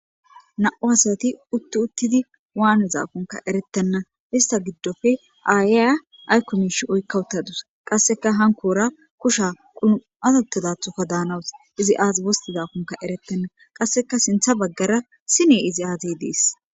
Nam'u asati utti uttidi waanizakonka errettena issta giidope issi ayiya aykko mishshe oykka uttadusi qasseka hannkora kushshe quumada uttidatho daanasu iizi aazi wosttizakoka erretibeyna qasseka sinththa baggara siine iizi aaze dessi.